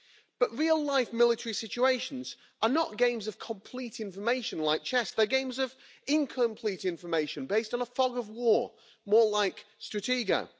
But real life military situations are not games of complete information like chess, they are games of incomplete information, based on a fog of war, more like Stratega.